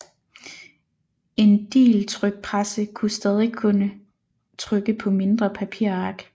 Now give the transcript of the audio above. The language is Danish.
En digeltrykpresse kunne stadig kun trykke på mindre papirark